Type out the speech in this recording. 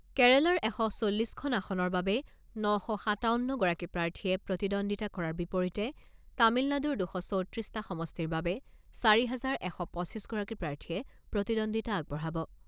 কেৰালাৰ এশ চল্লিছখন আসনৰ বাবে ন শ সাতাৱন্নগৰাকী প্ৰাৰ্থীয়ে প্ৰতিদ্বন্দ্বিতা কৰাৰ বিপৰীতে তামিলনাডুৰ দুশ চৌত্ৰিছটা সমষ্টিৰ বাবে চাৰি হাজাৰ এশ পঁচিছ গৰাকী প্ৰাৰ্থীয়ে প্ৰতিদ্বন্দ্বিতা আগবঢ়াব।